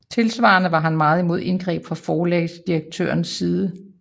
Tilsvarende var han meget imod indgreb fra forlagsredaktørernes side